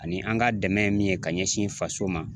Ani an ka dɛmɛ ye min ye k'a ɲɛsin faso ma